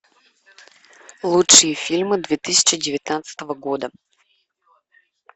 лучшие фильмы две тысячи девятнадцатого года